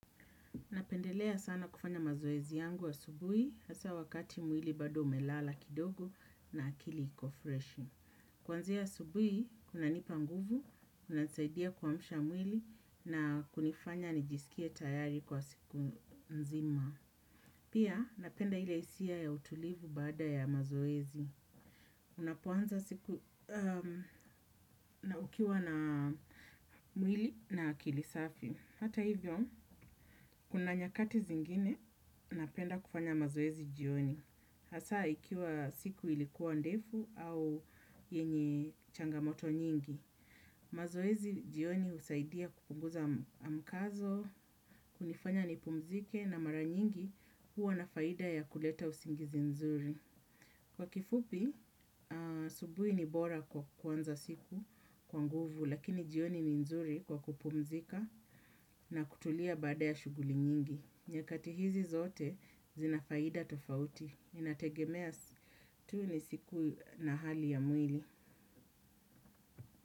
Napendelea sana kufanya mazoezi yangu wa asubui, hasa wakati mwili bado umelala kidogo na akili iko fresh. Kwanzia asubui, kuna nipa nguvu, unasaidia kuamsha mwili na kunifanya nijisikie tayari kwa siku nzima. Pia, napenda ile hisia ya utulivu baada ya mazoezi. Unapoanza siku na ukiwa na mwili na akili safi. Hata hivyo, kuna nyakati zingine napenda kufanya mazoezi jioni. Hasa ikiwa siku ilikuwa ndefu au yenye changamoto nyingi. Mazoezi jioni usaidia kupunguza mkazo, kunifanya nipumzike na mara nyingi huwa na faida ya kuleta usingizi nzuri. Kwa kifupi, asubuhi ni bora kwa kuanza siku kwa nguvu, lakini jioni ni nzuri kwa kupumzika na kutulia baada ya shughuli nyingi. Nyakati hizi zote zinafaida tofauti. Inategemea, tu ni siku na hali ya mwili.